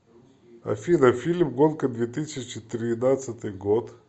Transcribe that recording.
афина фильм гонка две тысячи тринадцатый год